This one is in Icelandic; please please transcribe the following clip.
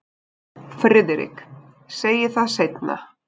FRIÐRIK: Segi það seinna.